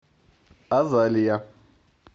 азалия